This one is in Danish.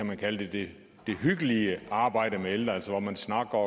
man kalde det hyggelige arbejde med ældre altså hvor man snakker